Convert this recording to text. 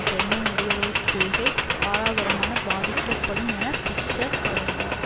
German வெளியுறவு கொள்கை பாரதூரமானப்பாதிக்கப்படும் என பிஷ்ஷர் தொடர்ந்தார்